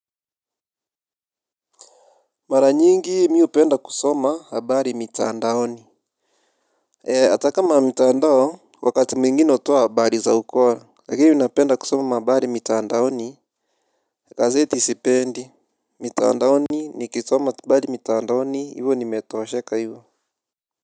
Mara nyingi mi upenda kusoma habari mitaandaoni. E ataka ma mitaandao wakati mingine utoa habari za ukora lakini napenda kusoma habari mitaandaoni gazeti sipendi mitaandaoni nikisoma habari mitaandaoni hivo nimetoosheka hivo.